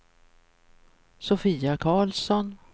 Sofia Carlsson